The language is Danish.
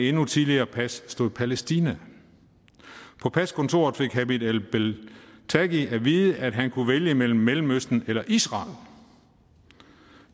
endnu tidligere pas stod palæstina på paskontoret fik hamed el beltagi at vide at han kunne vælge mellem mellemøsten eller israel